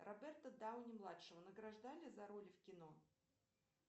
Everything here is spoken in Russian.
роберта дауни младшего награждали за роли в кино